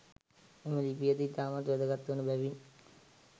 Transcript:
එම ලිපියද ඉතාමත් වැදගත් වන බැවින්